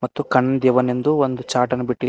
ಮತ್ತು ಕಣ್ ದೇವನೆಂದು ಒಂದು ಚಾಟನ್ನು ಬಿಟ್ಟಿ--